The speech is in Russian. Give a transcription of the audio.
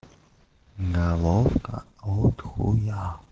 головка от хуя